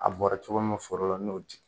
A bɔra cogo min foro la n'o di